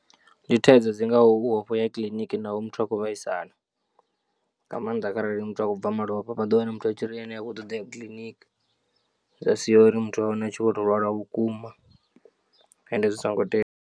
Ndi thaidzo dzi ngaho u ofha u ya kiḽiniki naho muthu a khou vhaisala, nga maanḓa kharali muthu a khou bva malofha vhado wana muthu a tshi ri ene ha khou ṱoḓa uya kiḽiniki zwa sia uri muthu u wane a tshi vho tou lwala vhukuma ende zwi songo tea.